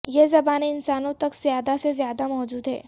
یہ زبانیں انسانوں تک زیادہ سے زیادہ موجود ہیں